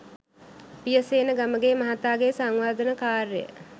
පියසේන ගමගේ මහතාගේ සංවර්ධන කාර්යය